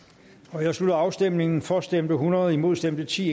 nu jeg slutter afstemningen for stemte hundrede imod stemte ti